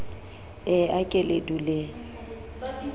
e a ke le duleng